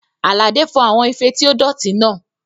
Àlàdé fọ àwọn ife tí ó dọ̀tí náà